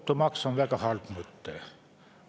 Automaks on väga halb mõte.